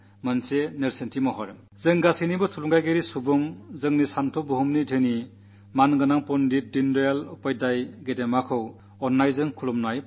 നമ്മുടെയെല്ലാം പ്രേരണപുരുഷനായിരുന്ന നമ്മുടെ വൈചാരിക പൈതൃകം കൊണ്ടു സമ്പന്നനായിരുന്ന ആദരണീയ പണ്ഡിറ്റ് ദീനദയാൽ ഉപാധ്യായജീയെ ഞാൻ ആദരവോടെ നമിക്കുന്നു